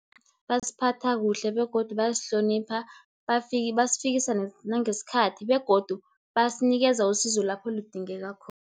Basiphatha kuhle, begodu bayasihlonipha, basifikisa nangesikhathi, begodu basinikeza usizo lapho lidingeka khona.